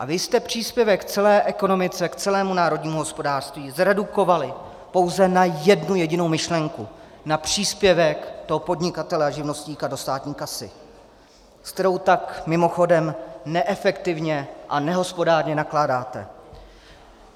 A vy jste příspěvek k celé ekonomice, k celému národnímu hospodářství zredukovali pouze na jednu jedinou myšlenku - na příspěvek toho podnikatele a živnostníka do státní kasy, s kterou tak, mimochodem, neefektivně a nehospodárně nakládáte.